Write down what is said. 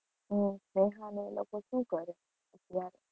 હમ સ્નેહા ને એ લોકો શું કરે